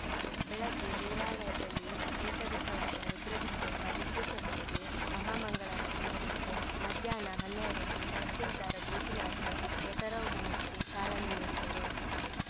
ಬೆಳಗ್ಗೆ ದೇವಾಲಯದಲ್ಲಿ ಏಕಾದಶವಾರ ರುದ್ರಾಭಿಷೇಕ ವಿಶೇಷ ಪೂಜೆ ಮಹಾ ಮಂಗಳಾರತಿ ನಡೆಯಿತು ಮಧ್ಯಾನ್ಹ ಹನ್ನೆರಡಕ್ಕೆ ತಹಶೀಲ್ದಾರ್‌ ಗೋಪಿನಾಥ್‌ ರಥಾರೋಹಣಕ್ಕೆ ಚಾಲನೆ ನೀಡಿದರು